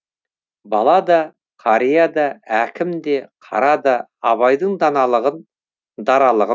бала да қария да әкім де қара да абайдың даналағын даралығын